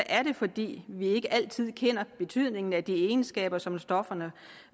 er det fordi vi ikke altid kender betydningen af de egenskaber som stofferne